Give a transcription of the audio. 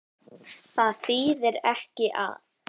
Það þýðir ekki að.